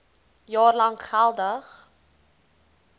jaar lank geldig